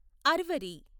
అర్వరి